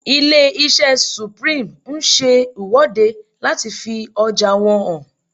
Ilé-iṣẹ́ Supreme ń ṣe ìwọ́de láti fi ọjà wọn hàn